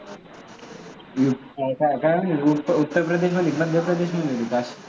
काय उत्तर प्रदेश मध्ये की मध्य प्रदेश मध्ये